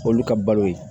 Olu ka balo ye